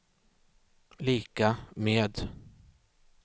lika med